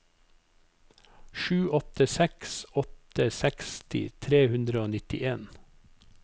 sju åtte seks åtte seksti tre hundre og nittien